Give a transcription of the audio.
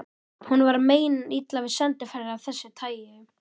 Honum var meinilla við sendiferðir af þessu tagi.